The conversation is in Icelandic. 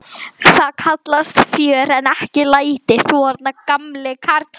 Það kallast fjör en ekki læti, þú þarna gamli karl.